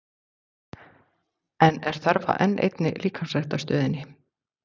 En er þörf á enn einni líkamsræktarstöðinni?